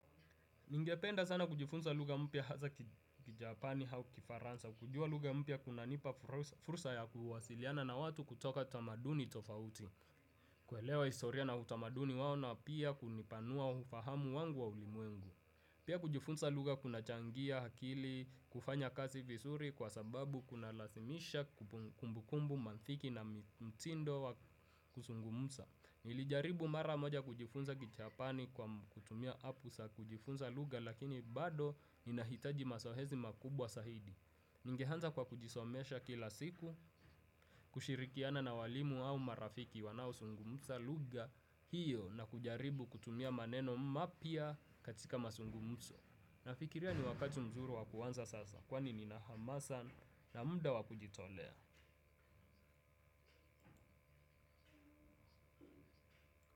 Ningependa sana kujifunza lugha mpya hasa kijapani au kifaransa. Kujua lugha mpya kunanipa fursa ya kuwasiliana na watu kutoka tamaduni tofauti. Kuelewa historia na utamaduni wao na pia kunipanua ufahamu wangu wa ulimwengu. Pia kujifunza lugha kunachangia akili kufanya kazi vizuri kwa sababu kunalazimisha kumbukumbu mantiki na mtindo wa kuzungumza. Nilijaribu mara moja kujifunza kijapani kwa kutumia apu za kujifunza lugha lakini bado ninahitaji mazoezi makubwa zaidi. Ningeanza kwa kujisomesha kila siku, kushirikiana na walimu au marafiki wanaozungumza lugha hiyo na kujaribu kutumia maneno mapya katika mazungumzo. Nafikiria ni wakati mzuri wa kuanza sasa kwani ni na hamasa na muda wa kujitolea.